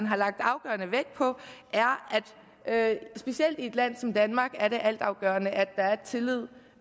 har lagt afgørende vægt på er at det specielt i et land som danmark er altafgørende at der er tillid